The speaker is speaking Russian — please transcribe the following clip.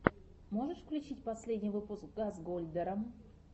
можешь включить последний выпуск газгольдера